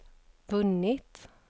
vunnit